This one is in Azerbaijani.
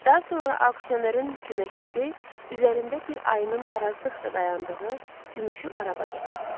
Daha sonra auksionerin köməkçisi üzərində bir ayının tarazlıqda dayandığı gümüşü araba gətirdi.